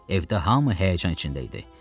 Evdə hamı həyəcan içində idi.